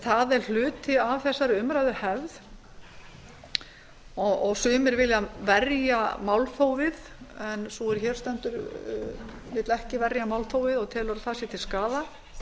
það er hluti af þessari umræðuhefð sumir vilja verja málþófið en sú er hér stendur vill ekki verja málþófið og telur að það sé til skaða